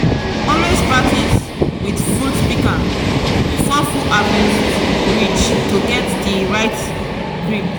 always practice with fruit pika before full harvest reach to get di right grip.